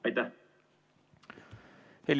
Aitäh!